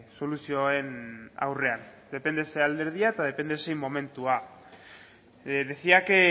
soluzioen aurrean depende zein alderdia eta depende zein momentua decía que